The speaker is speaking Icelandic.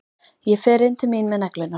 Ég fer inn til mín með neglurnar.